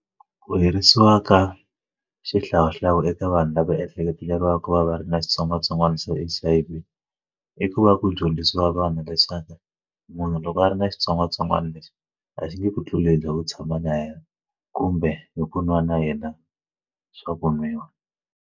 Ku herisiwa ka xihlawuhlawu eka vanhu lava ehleketeleriwaka ku va va ri na xitsongwatsongwana xa H_I_V ku va ku dyondzisiwa vanhu leswaku munhu loko a ri na xitsongwatsongwana lexi a xi nge ku tlulela u tshama na yena kumbe hi ku nwa na yena swa vu nwiwa.